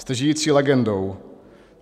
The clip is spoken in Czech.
Jste žijící legendou.